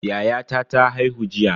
Yayata ta haihu jiya.